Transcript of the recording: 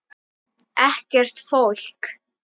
Ekkert fólk.